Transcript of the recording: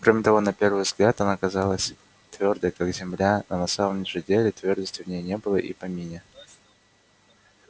кроме того на первый взгляд она казалась твёрдой как земля на самом же деле твёрдости в ней не было и в помине